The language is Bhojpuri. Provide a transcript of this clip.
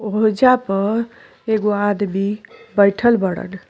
ओहजा पर एगो आदमी बैइठल बाड़न।